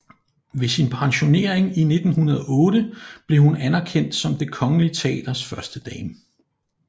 Ved sin pensionering i 1908 blev hun anerkendt som Det Kongelige Teaters førstedame